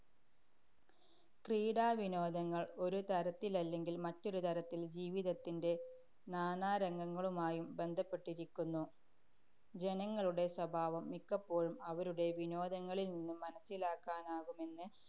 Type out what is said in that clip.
ക്രീഡാ വിനോദങ്ങള്‍ ഒരു തരത്തിലല്ലെങ്കില്‍ മറ്റൊരു തരത്തില്‍ ജീവിതത്തിന്‍റെ നാനാരംഗങ്ങളുമായും ബന്ധപ്പെട്ടിരിക്കുന്നു. ജനങ്ങളുടെ സ്വഭാവം മിക്കപ്പോഴും അവരുടെ വിനോദങ്ങളില്‍ നിന്നും മനസ്സിലാക്കാനാകുമെന്ന്